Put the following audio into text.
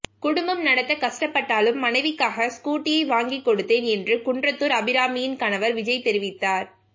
குடும்பம் நடத்த கஷ்டப்பட்டாலும் மனைவிக்காக ஸ்கூட்டியை வாங்கிக் கொடுத்தேன் என்று குன்றத்தூர் அபிராமியின் கணவர் விஜய் தெரிவித்தார்